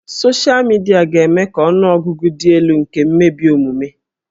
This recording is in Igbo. Soshịa midia ga-eme ka ọnụ ọgụgụ dị elu nke mmebi omume